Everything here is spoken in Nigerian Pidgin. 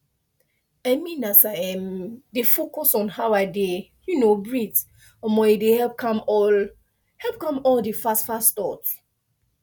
i mean as i um dey focus on how i dey um breathe um e dey help calm all help calm all the fastfast thought